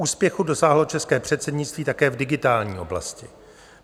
Úspěchu dosáhlo české předsednictví také v digitální oblasti.